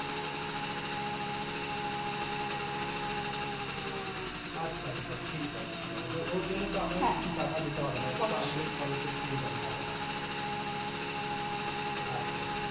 আচ্ছা আচ্ছা ঠিক আছে ঠিক আছে তো ওর জন্য তো আমায় কিছু টাকা দিতে হবে না অথবা আমি scholarship পেয়ে যাবো টাকাটা আচ্ছা